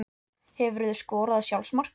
Hefurðu skorað sjálfsmark?